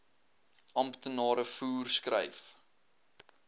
amptenare voer skryf